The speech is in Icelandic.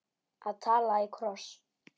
Að tala í kross